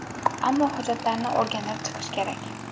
Ammo hujjatlarni o‘rganib chiqish kerak.